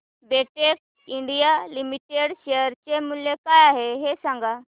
Betex India limited share चे मूल्य काय आहे हे सांगा